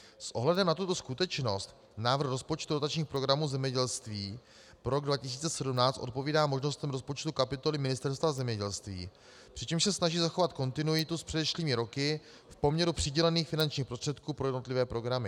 S ohledem na tuto skutečnost návrh rozpočtu dotačních programů zemědělství pro rok 2017 odpovídá možnostem rozpočtu kapitoly Ministerstva zemědělství, přičemž se snaží zachovat kontinuitu s předešlými roky v poměru přidělených finančních prostředků pro jednotlivé programy.